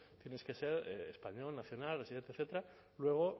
tienes que ser español nacional residente etcétera luego